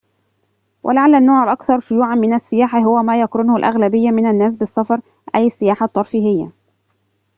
ولعلّ النوع الأكثر شيوعاً من السياحة هو ما يقرنه الأغلبية من الناس بالسفر أي السياحة الترفيهية